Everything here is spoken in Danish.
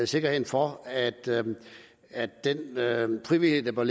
sikkerheden for at den frivillighed der bør